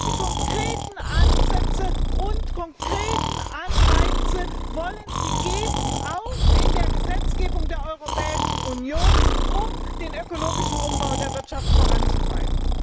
Welche konkreten Ansätze und konkreten Anreize wollen Sie auch in der Gesetzgebung der Europäischen Union geben, um den ökologischen Umbau der Wirtschaft voranzutreiben?